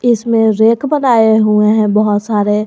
इसमें रैक बनाए हुए हैं बहोत सारे।